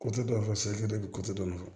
dɔ fɔ dɔ fɔ